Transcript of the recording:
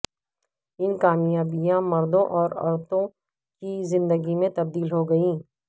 ان کامیابیاں مردوں اور عورتوں کی زندگی میں تبدیل ہوگئیں